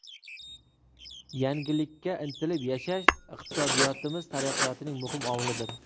Yangilikka intilib yashash iqtisodiyotimiz taraqqiyotining muhim omilidir.